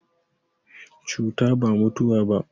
Cuta ba mutuwa ba.